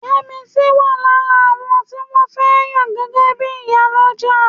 Yẹ́misí wà lára àwọn tí wọ́n fẹ́ yàn gẹ́gẹ́ bí Ìyálọ́jà